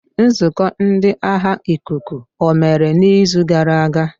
Nzukọ ndị agha ikuku omere n'izu gara aga?